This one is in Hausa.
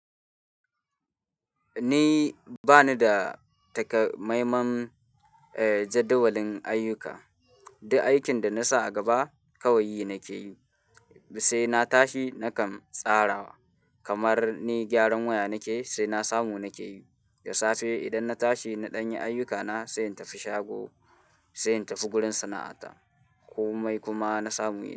Ni bani da takamaiman, eh, jadawalin ayyuka. Duk aikin da na sa a gaba kawai nake yi. Sai na tashi na kan tsarawa. Kamar ni gyaran waya nake yi, sai na samu nake yi. Da safe idan na tashi na ɗanye ayyukana sai in tafi shago, sai in tafi gurin sana'ata. Komai kuma na samu yi.